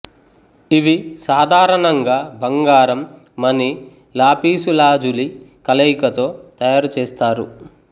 ఇవి సాధారణంగా బంగారం మణి లాపిసులాజులి కలయికతో తయారు చేస్తారు